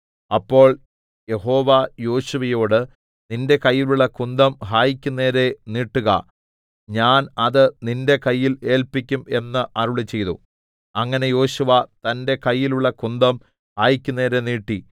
അപ്പോൾ യഹോവ യോശുവയോട് നിന്റെ കയ്യിലുള്ള കുന്തം ഹായിക്കു നേരെ നീട്ടുക ഞാൻ അത് നിന്റെ കയ്യിൽ ഏല്പിക്കും എന്ന് അരുളിച്ചെയ്തു അങ്ങനെ യോശുവ തന്റെ കയ്യിലുള്ള കുന്തം ഹായിക്കു നേരെ നീട്ടി